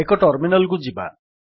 ଏକ ଟର୍ମିନାଲ୍ କୁ ଯିବା